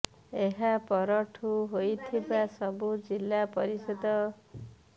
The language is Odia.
ଏହାପର ଠୁ ହୋଇଥିବା ସବୁ ଜିଲ୍ଲାପରିଷଦ ଉପ ନିର୍ବାଚନରେ ଦଳ ପରାସ୍ତ ହୋଇଛି